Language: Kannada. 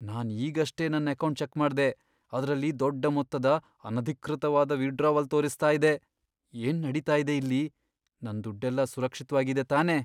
ನಾನ್ ಈಗಷ್ಟೇ ನನ್ ಅಕೌಂಟ್ ಚೆಕ್ ಮಾಡ್ದೆ.. ಅದ್ರಲ್ಲಿ ದೊಡ್ಡ ಮೊತ್ತದ, ಅನಧಿಕೃತ ವಿದ್ಡ್ರಾವಲ್ ತೋರಿಸ್ತಾ ಇದೆ. ಏನ್ ನಡೀತಾ ಇದೆ ಇಲ್ಲಿ? ನನ್ ದುಡ್ಡೆಲ್ಲ ಸುರಕ್ಷಿತ್ವಾಗಿದೆ ತಾನೇ?